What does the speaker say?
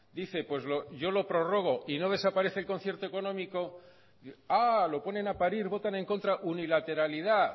dice pues yo lo prorrogo y no desaparece el concierto económico lo ponen a parir votan en contra unilateralidad